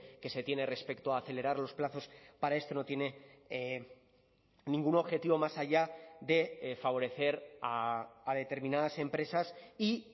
que se tiene respecto a acelerar los plazos para esto no tiene ningún objetivo más allá de favorecer a determinadas empresas y